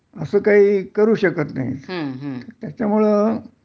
असं काही करू शकत नाही त्याच्यामुळं